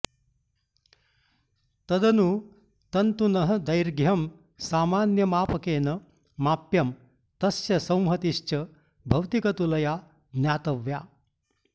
तदनु तन्तुनः दैर्घ्यं सामान्यमापकेन माप्यं तस्य संहतिश्च भौतिकतुलया ज्ञातव्या